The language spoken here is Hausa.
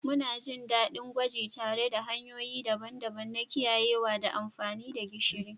Muna jin daɗin yin gwaji tare da hanyoyi daban-daban na kiyayewa da amfani da gishiri.